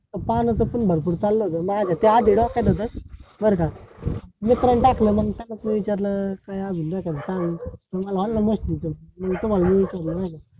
पानाच पण भरपूर चालल होत ते आधी माझ्या डोक्यात होत बर का? मित्राने टाकल मंग त्यालाच विचारल काय अजून सांगून म्हणून तुम्हाला मी विचारल नाय का?